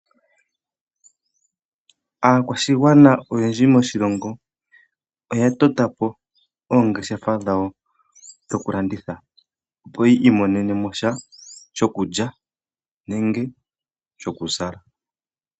Aakwashigwana oyendji moshilongo oya to ta po oongeshefa dhawo dhoku landitha, opo yi imonenemo sha shokulya nenge shokuzala.